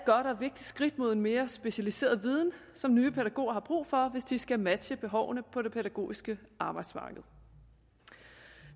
og vigtigt skridt mod en mere specialiseret viden som nye pædagoger har brug for hvis de skal matche behovene på det pædagogiske arbejdsmarked